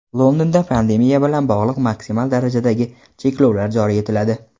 Londonda pandemiya bilan bog‘liq maksimal darajadagi cheklovlar joriy etiladi.